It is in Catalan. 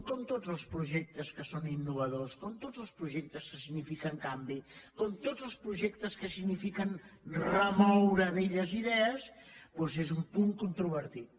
com tots els projectes que són innovadors com tots els projectes que signifiquen canvi com tots els projectes que signifiquen remoure velles idees doncs és un punt controvertit